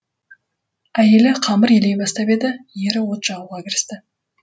әйелі қамыр илей бастап еді ері от жағуға кірісті